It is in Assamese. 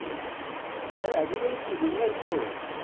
আচ্ছা! এই আজিকালি কি বুম্ৰাহ কি হল?